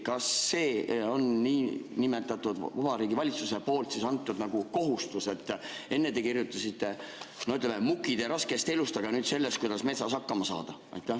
Kas Vabariigi Valitsuse on kohustuse, et enne te kirjutasite Mukide raskest elust, aga nüüd sellest, kuidas metsas hakkama saada?